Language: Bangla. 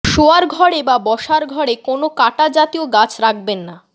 শোওয়ার ঘরে বা বসার ঘরের কোনও কাঁটা জাতীয় গাছ রাখবেন না